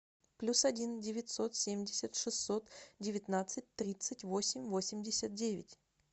плюс один девятьсот семьдесят шестьсот девятнадцать тридцать восемь восемьдесят девять